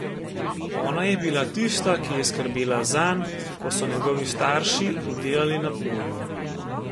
Ona je bila tista, ki je skrbela zanj, ko so njegovi starši delali na polju.